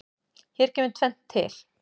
Hér kemur tvennt til.